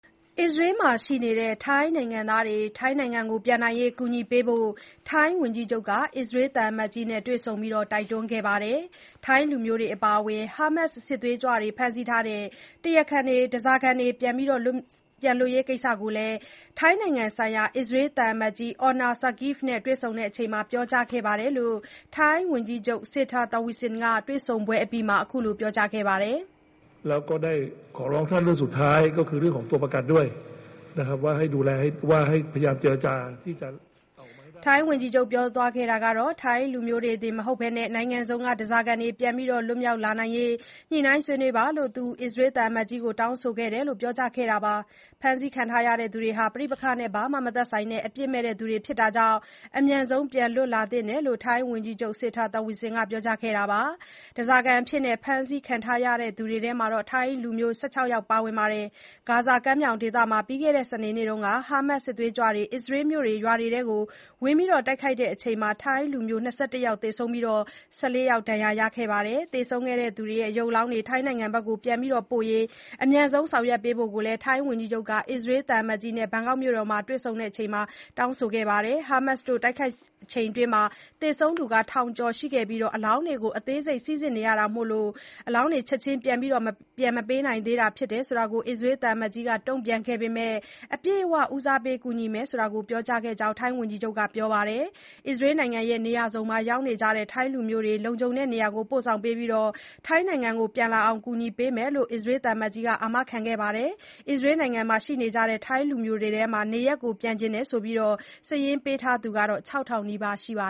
အစ္စရေးမှာရှိနေတဲ့ ထိုင်းနိုင်ငံသားတွေ ထိုင်းနိုင်ငံပြန်နိုင်ရေး ကူညီပေးဖို့ ထိုင်းဝန်ကြီးချုပ်က အစ္စရေးသံအမတ်ကြီးနဲ့ တွေ့ဆုံတိုက်တွန်းခဲ့ပါတယ်။ ထိုင်းလူမျိုးတွေ အပါအဝင် Hamas စစ်သွေးကြွတွေ ဖမ်းဆီးထားတဲ့ ဓါးစာခံတွေပြန်လွတ်ရေးကိစ္စကိုလည်း ထိုင်းနိုင်ငံဆိုင်ရာ သံအမတ်ကြီး Orna Sagiv နဲ့ တွေ့ဆုံစဉ်ပြောကြားခဲ့တယ်လို့ ထိုင်းဝန်ကြီးချုပ် Srettha Thavisin (စေထာ သာဝီဆင်) ကတွေ့ဆုံပွဲအပြီးမှာ ပြောကြားခဲ့ပါတယ်။ ထိုင်းလူမျိုးတွေတင်မဟုတ်ဘဲ နိုင်ငံစုံက ဓါးစာခံတွေ ပြန်လည်လွတ်မြောက်လာရေးအတွက် ညှိနှိုင်းဆွေးနွေးပါလို့ သူအစ္စရေးသံအမတ်ကြီးကို တောင်းဆိုခဲ့တယ်လို့ ထိုင်းဝန်ကြီးချုပ်က ပြောကြားခဲ့တာပါ။ ဖမ်းဆီးခံထားရသူတွေဟာ ပဋိပက္ခနဲ့ ဘာမှ မသက်ဆိုင်တဲ့ အပြစ်မဲ့သူတွေဖြစ်တာကြောင့် အမြန်ဆုံး ပြန်လွတ်လာသင့်တယ်လို့ ထိုင်းဝန်ကြီးချုပ် Srettha Thavisin (စေထာ သာဝီဆင်) ကပြောကြားပါတယ်။ ဓါးစာခံအဖြစ် ဖမ်းဆီးခံထားရသူတွေထဲမှာ ထိုင်းလူမျိုး ၁၆ ယောက်ပါဝင်ပါတယ်။ ဂါဇာကမ်းမြောင်ဒေသမှာ ပြီးခဲ့တဲ့ စနေနေ့က Hamas စစ်ကြွေးကြွတွေ အစ္စရေး မြို့တွေ ရွာတွေထဲ ဝင်ရောက်တိုက်ခိုက်ခဲ့စဉ် ထိုင်းလူမျိုး ၂၁ ယောက် သေဆုံးခဲ့ပြီး ၁၄ ယောက် ဒဏ်ရာရခဲ့ပါတယ်။ သေဆုံးခဲ့သူတွေရဲ့ အလောင်းတွေ ထိုင်းနိုင်ငံပြန်ပို့ရေး အမြန်ဆုံး ဆောင်ရွက်ပေးဖို့လည်း ထိုင်းဝန်ကြီးချုပ်က အစ္စရေးသံအမတ်ကြီးနဲ့ ဘန်ကောက်မြို့တော်မှာ တွေ့ဆုံစဉ် တောင်းဆိုခဲ့ပါတယ်။ Hamas တို့တိုက်ခိုက်မှုအတွင်း သေဆုံးသူ ထောင်ကျော်ရှိခဲ့ပြီး အလောင်းအားလုံးကို အသေးစိတ် စိစစ်နေရတာမို့ အလောင်းတွေ ချက်ချင်း ပြန်မပေးနိုင်သေးတာဖြစ်တယ်လို့ အစ္စရေးသံအမတ်ကြီးက တုံ့ပြန်ခဲ့ပေမဲ့ အပြည့်အဝ ဦးစားပေးကူညီမယ်လို့ ပြောကြားခဲ့ကြောင်း ထိုင်းဝန်ကြီးချုပ်က ပြန်ပြောပြပါတယ်။ အစ္စရေးနိုင်ငံ နေရာစုံမှာရောက်နေကြတဲ့ ထိုင်းလူမျိုးတွေကို လုံခြုံတဲ့နေရာတွေကို ပို့ဆောင်ပေးပြီး ထိုင်းနိုင်ငံပြန်လာနိုင်အောင် ကူညီပေးမယ်လို့ အစ္စရေးသံအမတ်ကြီးက အာမခံခဲ့တယ်လို့လည်း ပြောပါတယ်။ အစ္စရေးနိုင်ငံမှာ ရှိနေကြတဲ့ထိုင်းလူမျိုးတွေထဲက နေရပ်ပြန်ချင်တယ်လို့ စာရင်းပေးထားသူ ၆ ထောင်နီးပါးရှိပါ